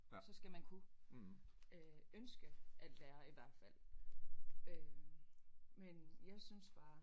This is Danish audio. Så skal man kunne øh ønske at lære i hvert fald øh men jeg synes bare